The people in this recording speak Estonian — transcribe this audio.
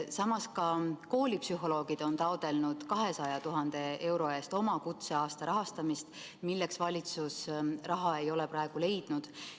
Samas on koolipsühholoogid taotlenud 200 000 euro eest ka oma kutseaasta rahastamist, milleks valitsus praegu raha ei ole leidnud.